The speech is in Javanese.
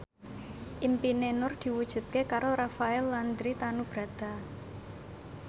impine Nur diwujudke karo Rafael Landry Tanubrata